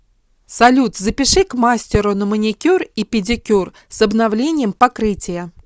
салют запиши к мастеру на маникюр и педикюр с обновлением покрытия